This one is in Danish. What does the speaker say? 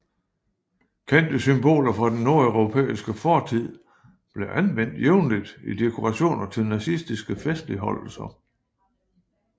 Kendte symboler fra den nordeuropæiske fortid blev anvendt jævnligt i dekorationer til nazistiske festligholdelser